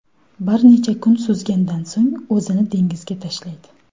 Bir necha kun suzgandan so‘ng o‘zini dengizga tashlaydi.